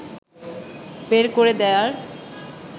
বের করে দেয়ার